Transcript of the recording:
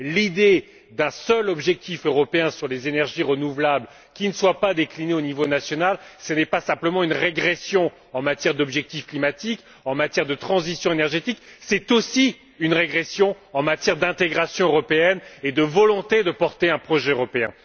L'idée d'un seul objectif européen sur les énergies renouvelables qui ne soit pas décliné au niveau national, ce n'est pas simplement une régression en matière d'objectifs climatiques, en matière de transition énergétique, c'est aussi une régression en matière d'intégration européenne, une régression de la volonté de porter un projet européen.